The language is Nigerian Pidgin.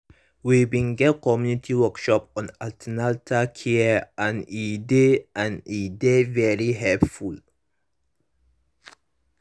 we bin get community workshop on an ten atal care and e dey and e dey very helpful